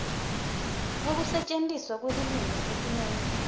kwekusetjentiswa kwelulwimi etimeni